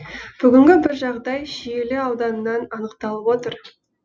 бүгінгі бір жағдай шиелі ауданынан анықталып отыр